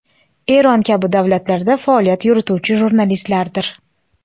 Eron kabi davlatlarda faoliyat yurituvchi jurnalistlardir.